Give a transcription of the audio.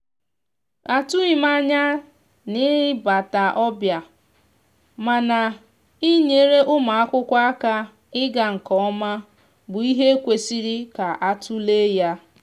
atughim anya ị na bata ọbịa mana ị nyere ụmụakwụkwọ aka ịga nke oma bụ ihe kwesiri ka atule ya.